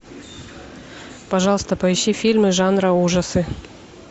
пожалуйста поищи фильмы жанра ужасы